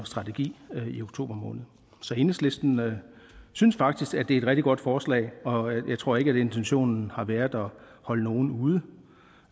strategi i oktober måned enhedslisten synes faktisk det er et rigtig godt forslag og jeg tror ikke at intentionen har været at holde nogen ude